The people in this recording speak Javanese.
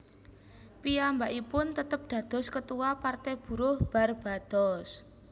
Piyambakipun tetep dados Ketua Partai Buruh Barbados